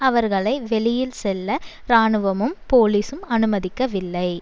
அவர்களை வெளியில் செல்ல இராணுவமும் போலிசும் அனுமதிக்கவில்லை